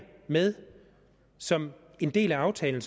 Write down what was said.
med som en del af aftalen